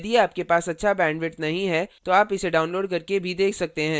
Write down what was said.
यदि आपके पास अच्छा bandwidth नहीं है तो आप इसे download करके भी देख सकते हैं